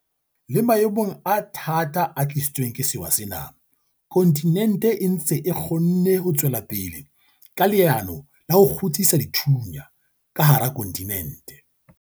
Le maemong a thata a tlisitsweng ke sewa sena, kontinente e ntse e kgonne ho tswela pele ka leano la ho 'kgutsisa dithunya' ka hara kontinente.